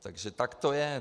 Takže tak to je.